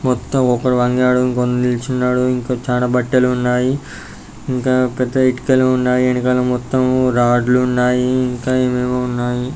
మొత్తం ఒకడు వంగాడు ఇంకోకడు నిల్చున్నాడు. ఇంకా చాన బట్టలు ఉన్నాయి ఇంకా పెద్ద ఇటుకలు ఉన్నాయి. వెనకాల మొత్తం రాడ్లు ఉన్నాయి ఇంకా ఎమెమో ఉన్నాయి.